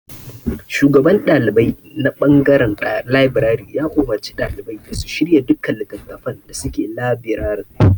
Shugaban ɗalibai na ɓangaren labirari ya umarci ɗalibai da su shirya duka littattafan da suke labirarin.